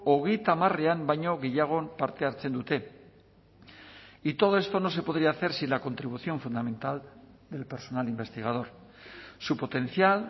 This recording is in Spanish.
hogeita hamarean baino gehiagon parte hartzen dute y todo esto no se podría hacer si la contribución fundamental del personal investigador su potencial